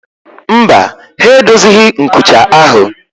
Mba, ha edozighị nkucha ahụ